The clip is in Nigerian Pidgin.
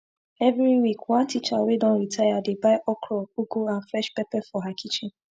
everi week one teacher wey don retire dey buy okro ugu and fresh pepper for her kitchen